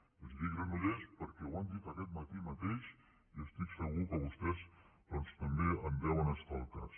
i els dic granollers perquè ho han dit aquest matí mateix i estic segur que vostès doncs també en deuen estar al cas